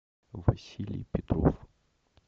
василий петров